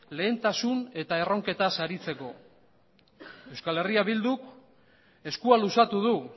lehentasun eta erroketaz aritzeko euskal herria bilduk eskua luzatu du